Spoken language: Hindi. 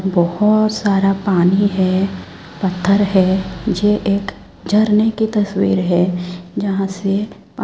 बोहोत सारा पानी है पत्थर है ये एक झरने की तस्वीर है जहां से पा--